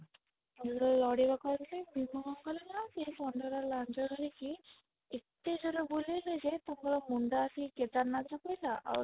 ଲଢ଼ିବାକୁ ଆସିଲେ ଭୀମ କଣ କଲେ ନା ସେ ର ଲାଞ୍ଜ ଧରିକି ଏତେ ଜୋର ରେ ବୁଲେଇଲେ ଯେ ତାଙ୍କର ମୁଣ୍ଡ ଆସିକି କେଦାରନାଥ ରେ ପଇଲା ଆଉ